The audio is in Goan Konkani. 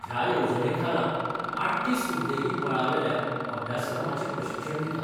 ह्या येवजणेखाला आठ्ठीस उद्देगीक मळावयल्या अभ्यासक्रमाचे प्रशिक्षण दितात.